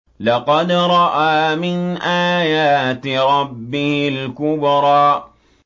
لَقَدْ رَأَىٰ مِنْ آيَاتِ رَبِّهِ الْكُبْرَىٰ